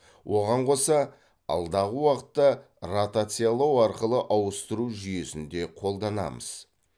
оған қоса алдағы уақытта ротациялау арқылы ауыстыру жүйесін де қолданамыз